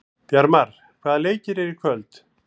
Bjarmar, hvaða leikir eru í kvöld?